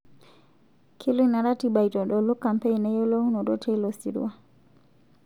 Kelo ina ratiba aitodolu kampein eyiolounoto teilo sirua